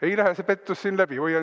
Ei lähe see pettus siin läbi!